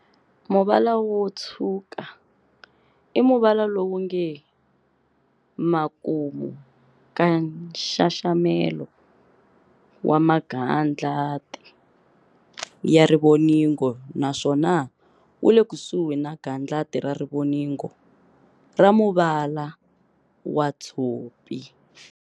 Muvala wo Tshwuka i muvala lowunge makumu ka nxaxamelo wa magandlati ya rivoningo naswona wule kusuhi na gandlati ra rivoningo ra muvala wa Tshopi.